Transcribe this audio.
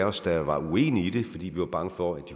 os der var uenige i det fordi vi var bange for at